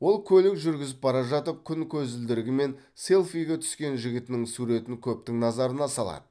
ол көлік жүргізіп бара жатып күн көзілдірігімен селфиге түскен жігітінің суретін көптің назарына салады